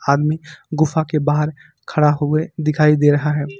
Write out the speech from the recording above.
आदमी गुफा के बाहर खड़ा हुए दिखाई दे रहा है।